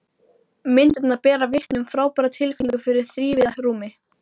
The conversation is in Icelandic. Þessi staða gæti einna helst komið upp í smáum hlutafélögum.